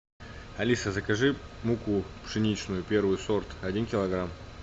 алиса закажи муку пшеничную первый сорт один килограмм